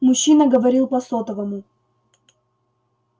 мужчина говорил по сотовому